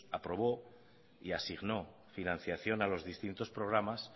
aprobó y asignó financiación a los distintos programas